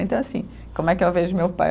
Então, assim, como é que eu vejo meu pai?